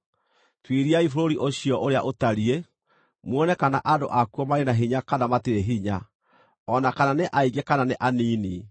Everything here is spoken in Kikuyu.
Tuĩriai bũrũri ũcio ũrĩa ũtariĩ, muone kana andũ akuo marĩ na hinya kana matirĩ hinya, o na kana nĩ aingĩ kana nĩ anini.